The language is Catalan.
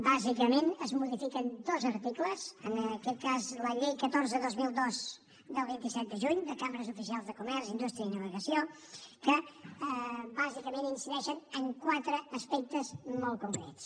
bàsicament es modifiquen dos articles en aquest cas de la llei catorze dos mil dos del vint set de juny de cambres oficials de comerç indústria i navegació que bàsicament incideixen en quatre aspectes molt concrets